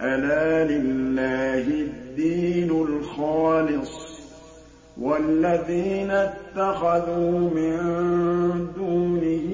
أَلَا لِلَّهِ الدِّينُ الْخَالِصُ ۚ وَالَّذِينَ اتَّخَذُوا مِن دُونِهِ